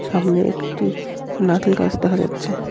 সামনে একটি নারকেল গাছ দেখা যাচ্ছে.